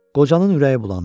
Qocanın ürəyi bulandı.